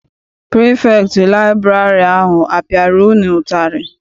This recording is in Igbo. Pirifektị liburary ahụ a piara unu ụtarị?